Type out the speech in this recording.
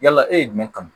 Yala e ye jumɛn kanu